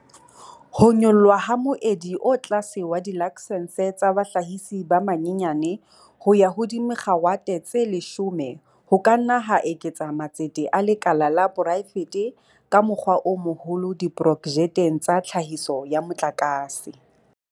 Ho nyollwa ha moedi o tlase wa dilaksense tsa bahlahisi ba banyenyane ho ya ho dimegawate tse 100 ho ka nna ha eketsa matsete a lekala la poraefete ka mokgwa o moholo diprojekteng tsa tlhahiso ya motlakase.